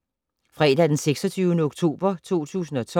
Fredag d. 26. oktober 2012